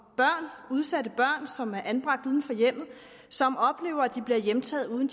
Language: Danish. børn udsatte børn som er anbragt uden for hjemmet og som oplever at de bliver hjemtaget uden